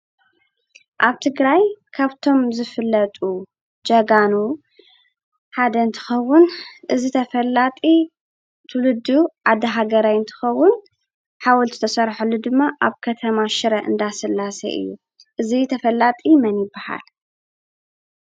አብ ትግራይ ካብቶም ዝፍለጡ ጀጋኑ ሓደ እንትኸውን እዚ ተፈላጢ ትውልዱ ዓዲ ሃገራይ እንትኸውን ሓወልቲ ዝተሰርሐሉ ድማ አብ ከተማ ሽረ እንዳስላሰ እዩ፡፡ እዚ ተፈላጢ መን ይብሃል?